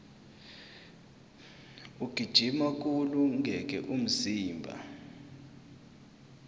ukugijima kuwulungele umzimba